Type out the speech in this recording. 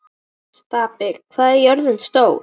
Innst inni vorum við samt búin undir þungan dóm.